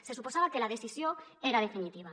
se suposava que la decisió era definitiva